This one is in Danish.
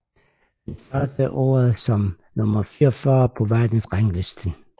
Han startede året som nummer 44 på verdensranglisten